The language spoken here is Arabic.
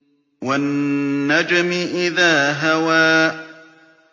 وَالنَّجْمِ إِذَا هَوَىٰ